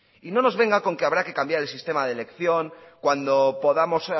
y no nos venga con que habrá que cambiar el sistema de elección cuando podamos